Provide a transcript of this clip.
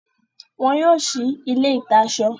Wọ́n yóò si ilé ìta-asọ.